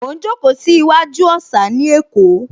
Mo ń jókòó sí iwájú òsà ní Èkó